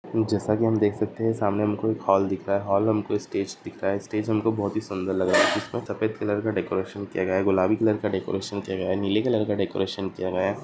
जैसा की हम देख सकते है सामने उनको हॉल दिख रहा है हॉल उनको स्टेज दिख रहा है स्टेज उनको बहोत ही सुंदर लग रहा है उसमे सफेद कलर का डेकोरेशन किया गया है गुलाबी कलर का डेकोरशन किया गया है नीले कलर का डेकोरेशन किया गया है।